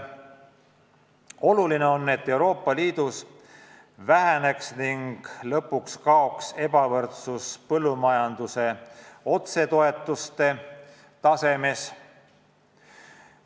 Oluline on, et Euroopa Liidus väheneks ning lõpuks kaoks ebavõrdsus põllumajanduse otsetoetuste tasemes.